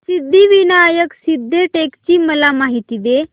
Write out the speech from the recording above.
सिद्धिविनायक सिद्धटेक ची मला माहिती दे